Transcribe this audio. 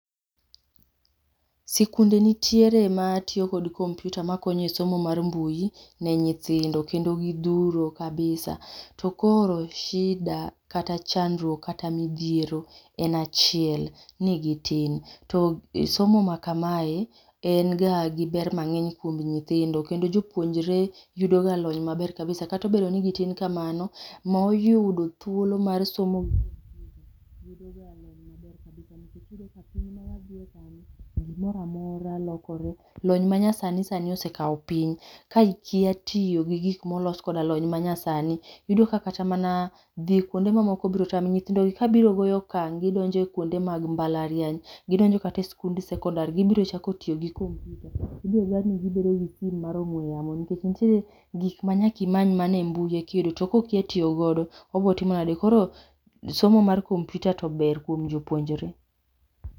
Sikunde nitiere ma tiyo kod kompyuta ma konyo e somo mar mbui, ne nyithindo kendo gi dhuro kabisa to koro shida kata midhiero kata chandruok en achiel, ni gi tin. to somo ma kama en ga gi ma ber mang'eny kuom nyithindo kendo jopuonjre yudo ga lony ma ber kabisa kata obedo ni gi tin kamano, ma oyudo thuolo mar somo yudo ga lony ma ber kabisa nikech iyudo ka piny ma wadhiye sani gi moro amora lokore ,lony ma nyasani osekawo piny ka ikia tiyo gi gigo ma olos gi lony ma nyasani, yudo ka kata mana dhi kuonde ma moko biro tami. nyithindo gi ka biro goyo okang' gi donje kuonde mag mbalariany gi donje kata sikund sekondar gi biro chako tiyo gi kompyuta, ibiro dwar ni gi bedo gi simo mar ong'we yamo nikech nitiere gik ma nyaka imany e mbui to ko okia tiyo go obiro timo nade? somo mar kompyuta to ber kuom jopuonjre.